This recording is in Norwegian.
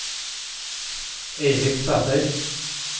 Eilif Sæter